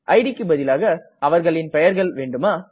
idக்கு பதிலாக அவர்களின் பெயர்கள் வேண்டுமா